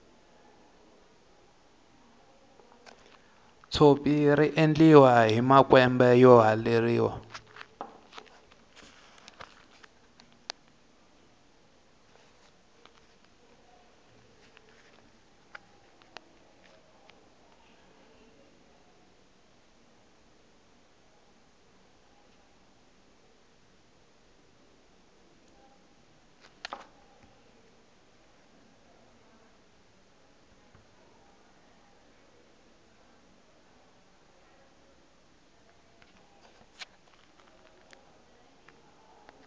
tshopi riendliwa hi makwembe yo haleriwa